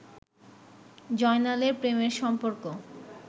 জয়নালের প্রেমের সম্পর্ক